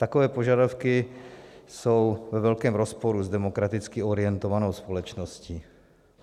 Takové požadavky jsou ve velkém rozporu s demokraticky orientovanou společností.